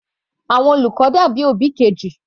Àwọn olùkọ́ dàbí òbí Kejì.